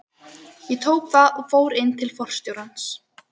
Ég tók það og fór inn til forstjórans.